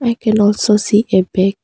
I can also see a bag.